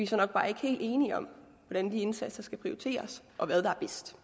så nok bare ikke helt enige om hvordan de indsatser skal prioriteres og hvad der er bedst